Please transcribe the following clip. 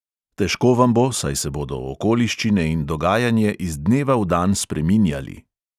Težko vam bo, saj se bodo okoliščine in dogajanje iz dneva v dan spreminjali.